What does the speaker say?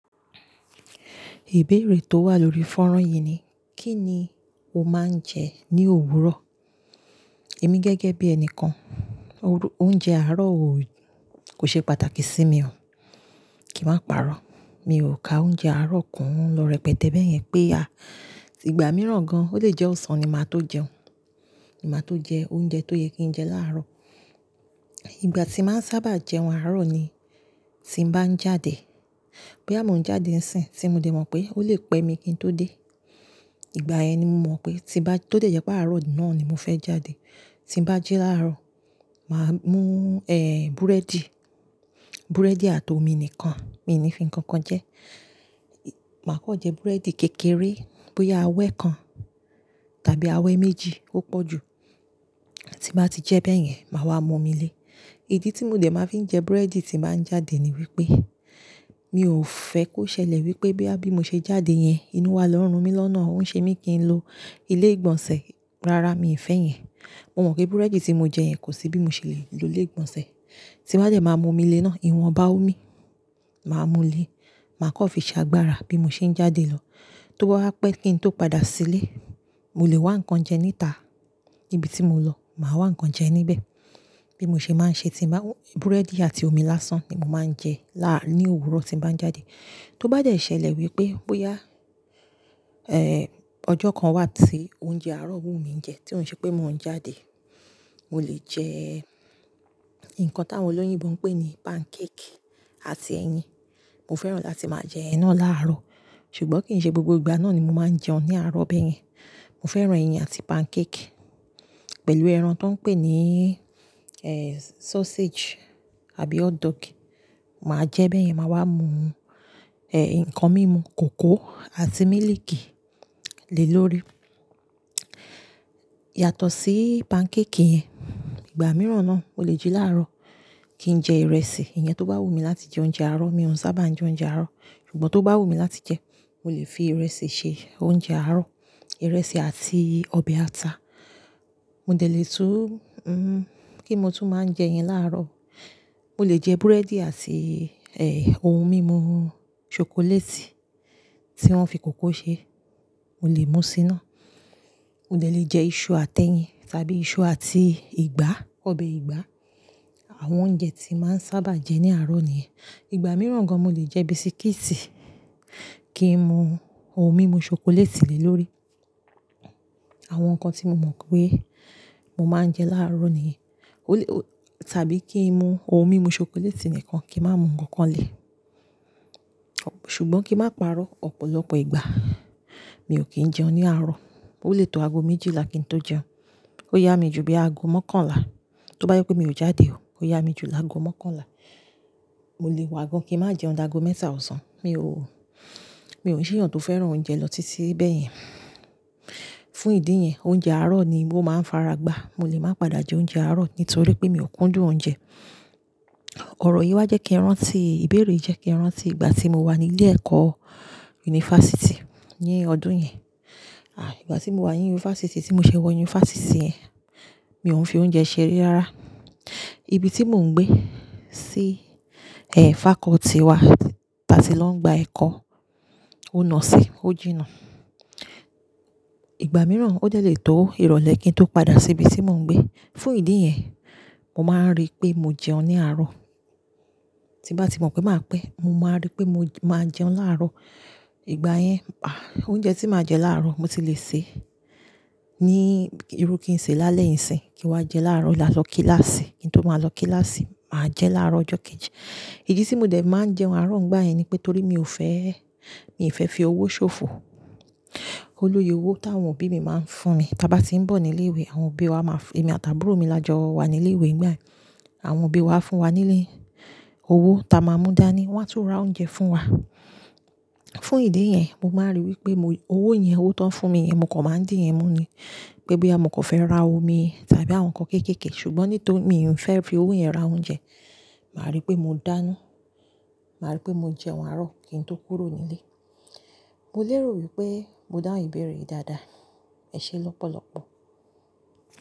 Ìbéèrè tó wà lórí fọ́nrán yìí ni, kí ni o máa ń jẹ ní òwúrọ̀? Èmi gẹ́gẹ́ bí ẹni kan, oúnjẹ àárọ̀ kò ṣe pàtàkì sí mi o. Kì má pa'rọ́, mi ò ka oúnjẹ àárọ̀ kún lọ́rẹ pẹ̀tẹ́bẹ́yẹn pé a, ìgbà mìíràn gan, ó lè jẹ́ ọ̀sán ni màá tó jẹun, ni màá tó jẹ oúnjẹ tó yẹ kí n jẹ láàárọ̀. Ìgbà tí màá ń sábà jẹun àárọ̀ ni tí n bá ń jáde. Bí a mò ń jáde ńsìn, tí mo dè mọ̀ pé ó lè pẹ́ mi kí n tó dé, ìgbà yẹn ni mo mọ̀ pé tí ba tó dẹ̀ yẹ pé àárọ̀ náà ni mo fẹ́ jáde. Ti bá jẹ́ láàárọ̀, màá mú, eh, búrẹ́dì, búrẹ́dì àti omi nìkan, mi ò ní fi ǹkan kan jẹ. Màá kọ́ jẹ búrẹ́dì kékeré bóyá awẹ kan tàbí awẹ méjì ó pọ̀ jù. Tí màá ti jẹ bẹ́yẹn, màá wá mú omi lé. Ìdí tí mòdẹ̀ máa fi ń jẹ búrẹ́dì tí màá ń jáde ni wípé mi ò fẹ́ kó ṣẹlẹ̀ wípé bí a bí mo ṣe jáde yẹn, inú wa lọ́rùn mí lọ́nà. Ó ń ṣe mí kí n lo ilé ìgbọ̀nsẹ̀. Rárá, mi ò fẹ́ yẹn. Mo mọ̀ pé búrẹ́dì tí mo jẹ yẹn kò sí bí mo ṣe lè lo ilé ìgbọ̀nsẹ̀. Ti bá jẹ́ màá mú omi lé náà, ìwọ̀n bá ò mi, màá mú lé. Màá kọ́ fi ṣe agbára bí mo ṣe ń jáde lọ. Tó bá wapẹ́ kí ń tó padà sílé, mo lè wá ǹkan jẹ níta níbi tí mo lọ. Màá wá ǹkan jẹ níbẹ̀ bí mo ṣe máa ń ṣe tí màá-- búrẹ́dì àti omi lásán ni mo máa ń jẹ ní òwúrọ̀ tí màá ń jáde. Tó bá jẹ́ ṣẹlẹ̀ wípé bóyá, eh, ọjọ́ kan wà tí oúnjẹ àárọ̀ wù mí jẹ tí ó ń ṣe pé mò ń jáde, mo lè jẹ nǹkan táwọn olóyìnbo ń pè ní pancake àti ẹyin. Mo fẹ́ràn láti máa jẹ náà láàárọ̀. Ṣùgbọ́n kì ń ṣe gbogbo ìgbà náà ni mo máa ń jẹun ní àárọ̀ bẹ́yẹn. Mo fẹ́ràn ẹyin àti pancake pẹ̀lú ẹran tó ń pè ní, eh, sausage àbí hotdog. Màá jẹ bẹ́yẹn, màá wá mu, eh, ǹkan mímu kòkó àti mílìkì lè lórí. Yàtọ̀ sí pancake yẹn, ìgbà mìíràn náà, ó lè jú láàárọ̀ kí n jẹ ìrẹsì. Ìyẹn tó bá wù mí láti jẹ oúnjẹ àárọ̀, mi ò ń sábà jẹ oúnjẹ àárọ̀, ṣùgbọ́n tó bá wù mí láti jẹ, mo lè fi ìrẹsì ṣe oúnjẹ àárọ̀. Ìrẹsì àti ọbẹ̀ ata. Mo dẹ̀ lè tún, hm, kí mo tún máa ń jẹ yẹn láàárọ̀. Mo lè jẹ búrẹ́dì àti, eh, ohun mímu ṣokoléètì tí wọ́n fi kòkó ṣe. Mo lè mú sí iná. Mo dẹ̀ lè jẹ iṣu àti ẹyin tàbí iṣu àti ìgbá, ọbẹ̀ ìgbá. Àwọn oúnjẹ tí màá ń sábà jẹ ní àárọ̀ nìyẹn. Ìgbà mìíràn gan mo lè jẹ bisikíìtì kí n mu ohun mímu ṣokoléètì lè lórí. Àwọn ǹkan tí mo mọ̀ pé mo máa ń jẹ láàárọ̀ nìyẹn. Ó lè-- tàbí kí n mu ohun mímu ṣokoléètì nìkan kí n má mu ǹkan kan lè. Ṣùgbọ́n kí má pa'rọ́, ọ̀pọ̀lọpọ̀ ìgbà mi ò kí ń jẹun ní àárọ̀. Ó lè tó ago méjìlá kí n tó jẹun. Ó yá mi ju bí ago mọ́kànlá. Tó bá yẹ pé mi ò jáde o, ó yá mi ju ago mọ́kànlá. Mo lè wà ago kí n má jẹun dágo mẹ́ta ọ̀sán. Mi ò, mi ò ṣe èèyàn tó fẹ́ràn oúnjẹ lọ títí bẹ́yẹn. Fún ìdí yẹn, oúnjẹ àárọ̀ ni mo máa ń faragbá. Mo lè máa padà jẹ oúnjẹ àárọ̀ nítorí pé mi ò kúndùn oúnjẹ. Ọ̀rọ̀ yìí wá jẹ́ kí n rántí, ìbéèrè jẹ́ kí n rántí ìgbà tí mo wà nílé ẹ̀kọ́ yunifásítì ní ọdún yẹn. Ah, ìgbà tí mo wà ní yunifásítì, tí mo ṣe wọ yunifásítì yẹn, mi ò ń fi oúnjẹ ṣeré ara. Ibi tí mò ń gbé sí, eh, fakọ́ọ́tì wa tí a ti lọ ń gba ẹ̀kọ́, ó nà sí, ó jìnnà. Ìgbà mìíràn ó dẹ̀ lè tó ìrọ̀lẹ́ kí n tó padà sí ibi tí mò ń gbé. Fún ìdí yẹn, mo máa ń rí pé mo jẹun ní àárọ̀. Tí bá ti mọ̀ pé màá pẹ́, mo máa rí pé mo máa jẹun láàárọ̀. Ìgbà yẹn, ah, oúnjẹ tí màá jẹ láàárọ̀ mo ti lè sè ní irú kí n sè lálẹ́ ńsìn kí n wá jẹ láàárọ̀ kí n lọ kíláàsì. Kí n tó máa lọ kíláàsì, màá jẹ láàárọ̀ ọjọ́ kejì. Ìdí tí mòdẹ̀ máa ń jẹun àárọ̀ nígbà yẹn ni pé torí mi ò fẹ́, mi ò fẹ́ fi owó ṣòfò. Ó lóye owó táwọn òbí mi máa ń fún mi. Tí a bá ti ń bọ̀ ní ilé ìwé, àwọn òbí wa máa f-- èmi àti àbúrò mi lọ́jọ́ wa ní ilé ìwé nígbà yẹn. Àwọn òbí wa fún wa nílé owó táa máa mú dáa ni, wọ́n á tún ra oúnjẹ fún wa. Fún ìdí yẹn, mo máa ń rí wípé mo, owó yẹn, owó tó ń fún mi yẹn, mo kò máa ń dì yẹn mú ni. Pé bí a mo kò fẹ́ ra omi tàbí àwọn ǹkan kéékèèké, ṣùgbọ́n nítorí mi ò fẹ́ fi owó yẹn ra oúnjẹ, màá rí pé mo dáná. Màá rí pé mo jẹun àárọ̀ kí n tó kúrò nílé. Mo lè rò wípé mo dá ìbéèrè yìí dáadáa. Ẹ ṣé lọ́pọ̀lọ́pọ̀.